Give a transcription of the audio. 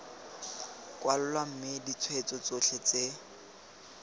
kwalwa mme ditshweetso tsotlhe tse